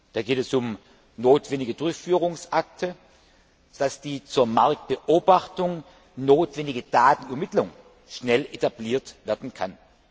Da geht es um notwendige Durchführungsakte, damit die zur Marktbeobachtung notwendige Datenermittlung schnell etabliert werden kann.